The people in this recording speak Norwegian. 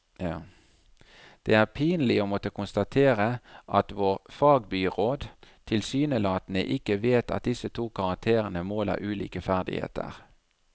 Det er pinlig å måtte konstatere at vår fagbyråd tilsynelatende ikke vet at disse to karakterene måler ulike ferdigheter.